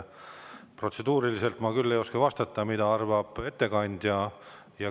Protseduuriliselt ma ei oska vastata, mida ettekandja arvab.